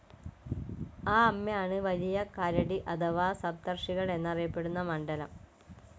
ആ അമ്മയാണ് വലിയ കരടി അഥവാ സപ്തർഷികൾ എന്നറിയപ്പെടുന്ന മണ്ഡലം.